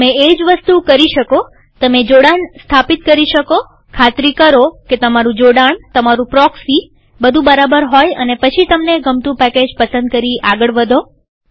તમે એ જ વસ્તુ કરી શકોતમે જોડાણ સ્થાપિત કરી શકોખાતરી કરો કે તમારું જોડાણતમારું પ્રોક્સીબધું બરાબર હોય અને પછી તમને ગમતું પેકેજ પસંદ કરી આગળ વધો